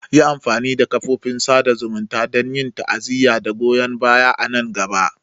Yi amfani da kafofin sada zumunta don yin ta'aziyya da goyon baya a nan gaba.